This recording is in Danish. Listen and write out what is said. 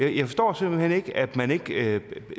jeg forstår simpelt hen ikke at man ikke